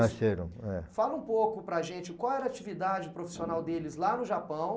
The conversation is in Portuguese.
Nasceram, é. Fala um pouco para a gente qual era a atividade profissional deles lá no Japão.